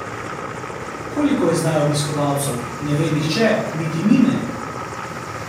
Koliko je zdaj obiskovalcev, ne ve nihče, niti mi ne.